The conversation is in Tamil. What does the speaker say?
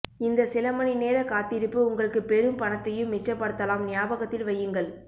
இந்த சில மணி நேர காத்திருப்பு உங்களுக்கு பெரும் பணத்தையும் மிச்சப்படுத்தாலம் நியாபகத்தில் வையுங்கள்